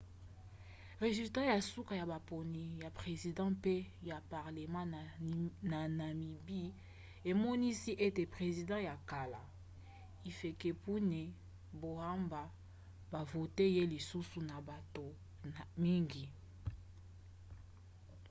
resulats ya suka ya maponi ya president pe ya parlema na namibie emonisi ete president ya kala hifikepunye pohamba bavote ye lisusu na bato mingi